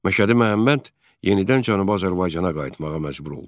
Məşədi Məhəmməd yenidən Cənubi Azərbaycana qayıtmağa məcbur oldu.